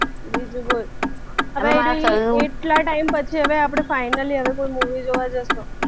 બીજું બોલ અને એટલા time પછી હવે આપણે finally movie જોવા જઈશું